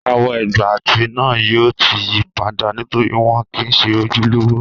Àwọ̀ ègbà etí náà yóò yí padà nítorí wọn kìí se ojúlówó